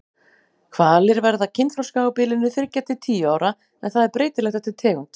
Hvalir verða kynþroska á bilinu þriggja til tíu ára en það er breytilegt eftir tegund.